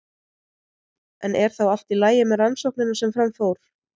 En er þá allt í lagi með rannsóknina sem fram fór?